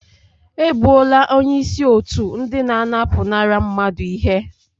E gbuola onye isi otu ndị na-anapụnara mmadụ ihe